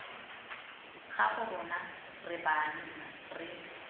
gago rona re banna re